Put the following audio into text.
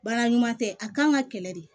Baara ɲuman tɛ a kan ka kɛlɛ de